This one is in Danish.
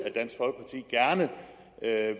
at